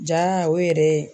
Jaa o yɛrɛ ye